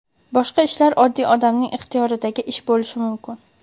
Boshqa ishlar oddiy odamning ixtiyoridagi ish bo‘lishi mumkin.